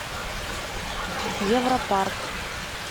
европарк